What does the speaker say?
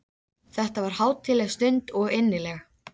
Þetta varð hátíðleg stund og innileg.